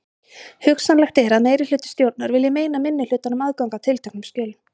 Hugsanlegt er að meirihluti stjórnar vilji meina minnihlutanum aðgang að tilteknum skjölum.